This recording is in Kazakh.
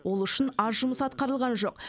ол үшін аз жұмыс атқарылған жоқ